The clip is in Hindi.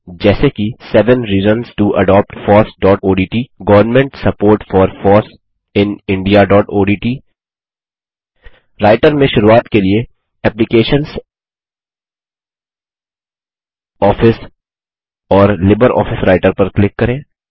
जैसे कि seven reasons to adopt fossओडीटी government support for foss in indiaओडीटी राइटर में शुरूआत के लिए एप्लिकेशंस आफिस और लिब्रियोफिस राइटर पर क्लिक करें